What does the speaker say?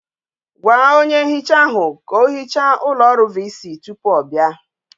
Gwa onye nhicha ahu ka ohicha ulo oru Vc tupu o bia!